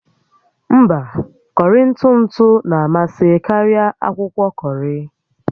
Mba, kọrị ntụ ntụ na-amasị karịa akwụkwọ kọrị